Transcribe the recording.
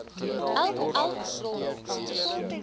elk elk rol